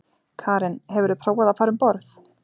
Karen: Hefurðu prófað að fara um borð?